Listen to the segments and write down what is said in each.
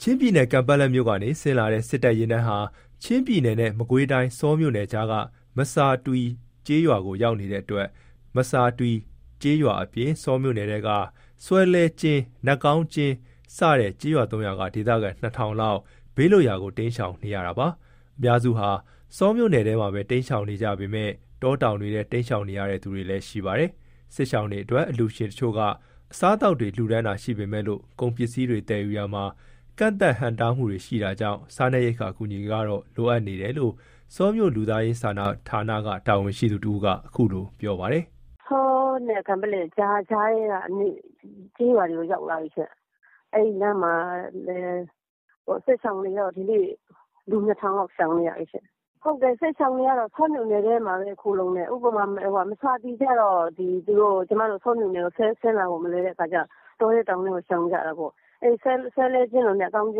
ချင်းပြည်နယ် ကန်ပက်လက်မြို့ကနေ ဆင်းလာတဲ့ စစ်တပ် ယာဉ်တန်းဟာ ချင်းပြည်နယ် နဲ့ မကွေးတိုင်း ဆောမြို့နယ်ကြားက မဆာတွီ ကျေးရွာကို ရောက်နေတဲ့အတွက် မဆာတွီကျေးရွာအပြင် ဆောမြို့နယ်ထဲက ဆွဲလွဲကျင်း ၊ နတ်ကောင်းကျင်း စတဲ့ ကျေးရွာ ၃ ရွာက ဒေသခံ ၂,၀၀၀ ထောင်လောက် ဘေးလွတ်ရာ တိမ်းရှောင်နေကြရတာပါ။ အများစုက ဆောမြို့နယ်ထဲမှာပဲ တိမ်းရှောင်နေကြပေမဲ့ တောတောင်တွေထဲ တိမ်းရှောင်နေရတဲ့ သူတွေလည်း ရှိပါတယ်။ စစ်ရှောင်တွေအတွက် အလှူရှင်အချို့က အစားအသောက် လှူဒါန်းတာတွေ ရှိပေမဲ့လို့ ကုန်ပစ္စည်းတွေ သယ်ယူရာမှာ ကန့်သတ် ဟန့်တားမှုတွေ ရှိတာကြောင့် စားနပ်ရိက္ခာ အကူအညီတွေ ကတော့ လိုအပ်နေတယ်လို့ ဆောမြို့ လူသားစာနာဌာနက တာဝန်ရှိသူတဦးက အခုလို ပြောပါတယ်။ က ဆောနဲ့ ကန်ပက်လက် မြို့နယ်ကြားထဲက ကျေးရွာတွေကို ရောက်လာပြီ။ အဲ့လမ်းမှာလည်း စစ်ရှောင်တွေတော့ ဒီနေ့ လူ ၂,၀၀၀ လောက် ရှောင်နေရတယ်။ စစ်ရှောင်တွေကတော့ ဆောမြို့နယ်ထဲမှာပဲ ခိုလှုံတယ်။ ဥပမာ မဆာတွီ ကတော့ ဆောမြို့နယ်ကို ဆင်းလာဖို့ မလွယ်တော့ တောထဲတောင်ထဲကို ရှောင်ကြတာပေါ့။ ဆွဲလွဲကျင်း၊ နတ်ကောင်းကျ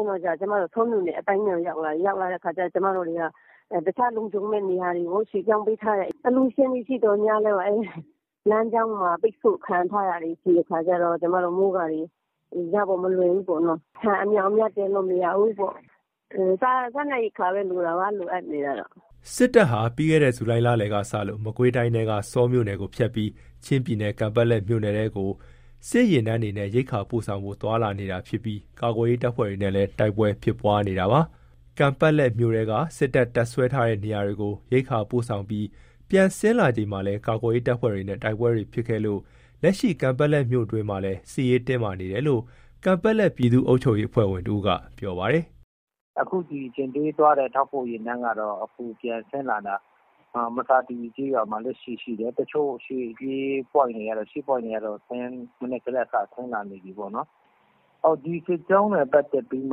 င်း တို့ကျတော့ ဆောမြို့နယ်အပိုင်းထဲကို ရောက်လာတဲ့ အခါကျတော့ ကျမတို့တွေက တခြားလုံခြုံမယ့် နေရာတွေကို ရွှေ့ပြောင်း ပေးထားတယ်။ အလှူရှင်တွေ ရှိသော်ငြားလည်း လမ်းကြောင်းမှာ ပိတ်ဆို့ ခံထားရတာတွေ ရှိတဲ့အခါကျတော့ ကျမ တို့ မိုးကာတွေ ရဖို့မလွယ်ဘူးပေါ့နော်။ ဆန်အမြောက်အများ တင်လို့မရဘူးပေါ့။ စားနပ်ရိက္ခာပဲ လိုတာပါ။ လိုအပ်နေတာက။” စစ်တပ်ဟာ ပြီးခဲ့တဲ့ ဇူလိုင် လလယ်ကစလို့ မကွေးတိုင်းထဲက ဆောမြို့နယ်ကို ဖြတ်ပြီး ချင်းပြည်နယ် ကန်ပက်လက်မြို့နယ်ထဲကို စစ်ယာဉ်တန်းတွေနဲ့ ရိက္ခာပို့ဆောင်ဖို့ သွားလာနေတာဖြစ်ပြီး ကာကွယ်ရေး တပ်ဖွဲ့တွေနဲ့ တိုက်ပွဲ ဖြစ်နေတာလည်း ဖြစ်ပါတယ်။ ကန်ပက်လက်မြို့ထဲက စစ်တပ် တပ်စွဲထားတဲ့ နေရာတွေကို ရိက္ခာပို့ဆောင်ပြီး ပြန်ဆင်းလာချိန်မှာလည်း ကာကွယ်ရေး တပ်ဖွဲ့တွေနဲ့ တိုက်ပွဲတွေ ဖြစ်ခဲ့ပြီး လက်ရှိ ကန်ပက်လက် မြို့တွင်းမှာလည်း စစ်ရေးတင်းမာနေတယ်လို့ ကန်ပက်လက် ပြည်သူ့ အုပ်ချုပ်ရေးအဖွဲ့ဝင် တဦးက ပြောပါတယ်။ “အခုထောက်ပို့ယာဉ်တန်းကတော့ ပြန်ဆင်းလာတာ မဆာတွီကျေးရွာမှာရှိတယ်။ တချို့ရှေ့ပြေး ရှေ့ပွိုင့်တွေကတော့ မနက်ကတည်းက စ ဆင်းလာ နေပြီပေါ့နော်။ ဒီစစ်ကြောင်းနဲ့ ပတ်သက်ပြီး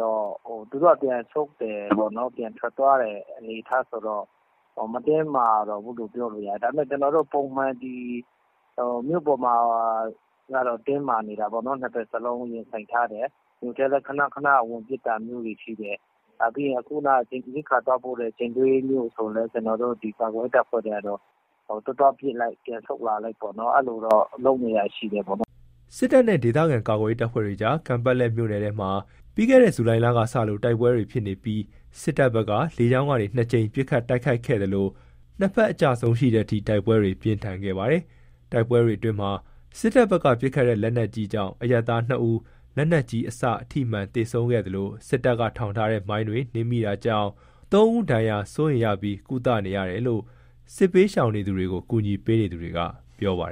တော့မှ သူတို့က ပြန်ဆုတ်တယ်ပေါ့နော်။ ပြန်ထွက်သွားတဲ့ အနေအထားဆိုတော့ မတင်းမာတော့ဘူးလို့ ပြောလို့ရတယ်။ ဒါပေမဲ့ ပုံမှန်မြို့ပေါ်မှာကတော့ တင်းမာနေတာပေါ့နော်။ နှစ်ဘက်စလုံး ရင်ဆိုင်ထားတယ်။ မြို့ထဲလည်း ခဏခဏ ဝင်ပစ်တာတွေ ရှိတယ်။ စောနက ရိက္ခာသွားပို့တဲ့ ယာဉ်တန်းဆိုလည်း သွား သွားပစ်လိုက် ပြန်ဆုတ်လာလိုက် အဲ့လိုတော့ လုပ်နေတာရှိတယ်ပေါ့နော်။” စစ်တပ်နဲ့ ဒေသခံကာကွယ်ရေး တပ်ဖွဲ့တွေကြား ကန်ပက်လက်မြို့နယ်ထဲမှာ ပြီးခဲ့တဲ့ ဇူလိုင်လက စလို့ တိုက်ပွဲတွေ ဖြစ်နေပြီး စစ်တပ်ဘက်က လေကြောင်းကနေ ၂ ကြိမ် ပစ်ခတ်တိုက်ခိုက်ခဲ့သလို၊ နှစ်ဘက်အကျအဆုံးရှိတဲ့အထိ တိုက်ပွဲတွေ ပြင်းထန်ခဲ့ပါတယ်။ တိုက်ပွဲတွေအတွင်း စစ်တပ်ဘက်က ပစ်ခတ်တဲ့ လက်နက်ကြီးကြောင့် အရပ်သား ၂ ဦး လက်နက်ကြီးအစ ထိမှန် သေဆုံးခဲ့သလို၊ စစ်တပ်က ထောင်ထားတဲ့ မိုင်းတွေ နင်းမိတာကြောင့် ၃ ဦး ဒဏ်ရာ စိုးရိမ်ရပြီး ကုသနေရတယ်လို့ စစ်ဘေးရှောင်တွေကို ကူညီပေးနေသူတွေက ပြောပါတယ